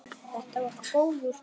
Þetta var góður dagur.